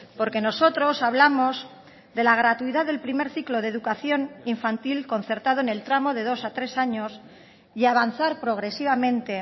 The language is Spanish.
porque nosotros hablamos de la gratuidad del primer ciclo de educación infantil concertado en el tramo de dos a tres años y avanzar progresivamente